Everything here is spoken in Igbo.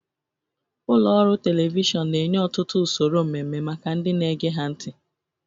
Ụlọ ọrụ telivishọn na-enye ọtụtụ usoro mmemme maka ndị na-ege ha ntị.